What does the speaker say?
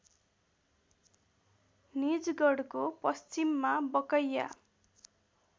निजगढको पश्चिममा बकैया